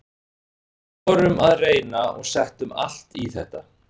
Við vorum að reyna og settum allt í þetta.